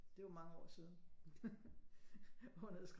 Det var mange år siden hun havde skrevet